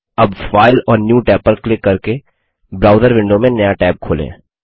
अब फाइल और new Tab पर क्लिक करके ब्राउज़र विंडो में नया टैब खोलें